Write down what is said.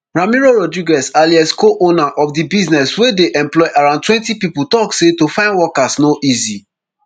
ramiro rodrguez alaez coowner of di business wey dey employ around twenty pipo tok say to find workers no easy